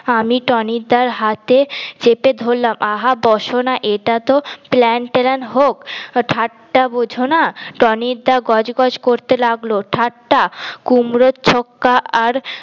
আমি টনি দার হাতে চেপে ধরলাম আহা বস না এটাতো প্ল্যান টেন হোক ঠাট্টা বোঝনা টনি দা গজ গজ করতে লাগলো ঠাট্টা কুমড়োর ছক্কা আর